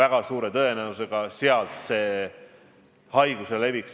Aga loomulikult tuleb alati ohuhinnanguid täiendada, ka siseturvalisuse mõttes.